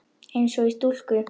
Eins og í stúku.